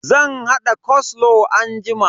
Zan hada koslow anjima.